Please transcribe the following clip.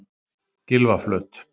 Gylfaflöt